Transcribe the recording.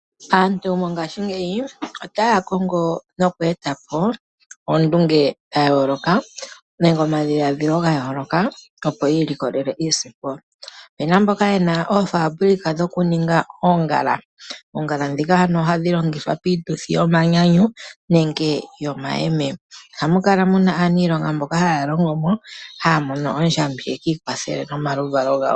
Aantu mongaashingeyi otaya kongo noku eta po oondunge dha yooloka nenge omadhiladhilo ga yooloka opo yiilikolele iisimpo. Opuna mboka yena oofaabulika dhokuninga oongala. Oongala ndhika ano ohadhi longithwa piituthi yomanyanyu nenge yomayeme. Ohamu kala muna aanilonga mboka haya longo mo haya mono oondjambi ye kiilwathele nomaluvalo gawo.